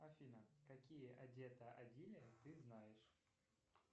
афина какие одето адили ты знаешь